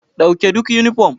Dauke duk yunifom.